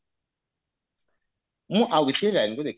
ମୁଁ ଆଉ କିଛି line କୁ ଦେଖିବି